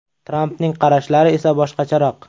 Trampning qarashlari esa boshqacharoq.